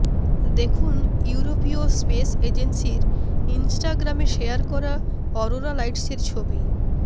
দেখুন ইউরোপীয় স্পেস এজেন্সির ইনস্টাগ্রামে শেয়ার করা অরোরা লাইটসের ছবি